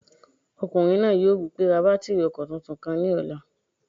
Ọkùnrin náà yóò wí pé "ra bátìrì ọkọ̀ tuntun kan ní ọ̀la!"